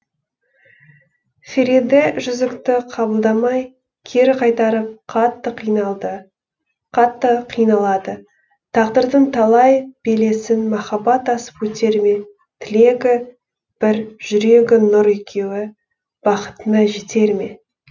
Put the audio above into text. фериде жүзікті қабылдамай кері қайтарып қатты қиналады тағдырдың талай белесін махаббат асып өтер ме тілегі бір жүрегі нұр екеуі бақытына жетер ме